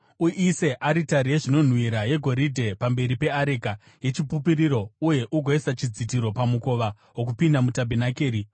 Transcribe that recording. Uise aritari yezvinonhuhwira yegoridhe pamberi peareka yechipupuriro uye ugoisa chidzitiro pamukova wokupinda mutabhenakeri.